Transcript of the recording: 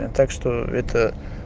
так что это